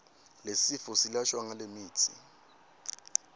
lesifo silashwa ngalemitsi